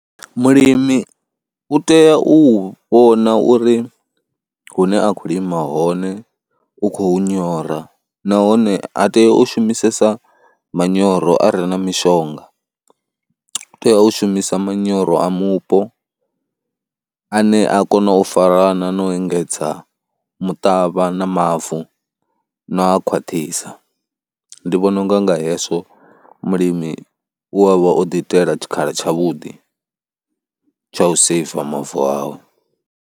Mulimi u tea u vhona uri hune a khou lima hone u khou hu nyora nahone ha tei u shumisesa manyoro a re na mishonga, u tea u shumisa manyoro a mupo ane a kona u farana na u engedza muṱavha na mavu na u a khwaṱhisa. Ndi vhona u nga nga hezwo mulimi u a vha o ḓiitela tshikhala tshavhuḓi tsha u seiva mavu awe.